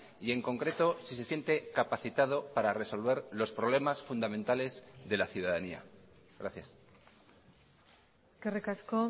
y en concreto si se siente capacitado para resolver los problemas fundamentales de la ciudadanía gracias eskerrik asko